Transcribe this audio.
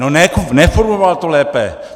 No, neformuloval to lépe!